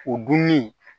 O dunni